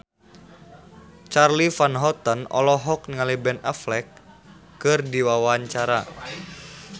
Charly Van Houten olohok ningali Ben Affleck keur diwawancara